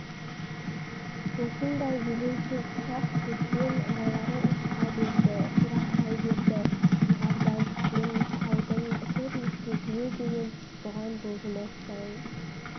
осындай елеусіз ұсақ-түйекпен аралары ушыға берді жырақтай берді жоғарыдан түскен нұсқаудың үтір-нүктесіне дейін бұған бұлжымас заң